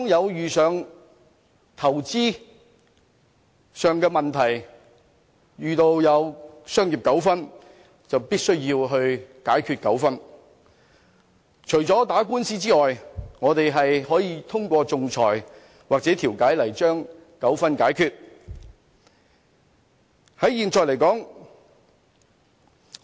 當遇到投資上的問題，或遇到商業糾紛，除了透過打官司解決糾紛，還可以通過仲裁或調解來解決糾紛。